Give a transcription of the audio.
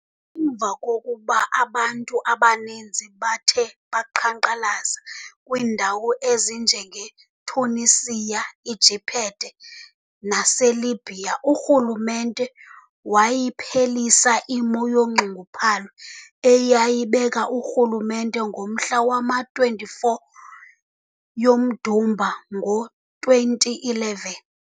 Emva kokuba abantu abaninzi bathe baqhankqalaza, kwiindawo ezinjenge-Tunisia, eJiphethe, nase-Libya, urhulumente wayiphelisa imo yonxunguphalo eyayibekwe ngurhulumente ngomhla wama-24 yomDumba ngo-2011.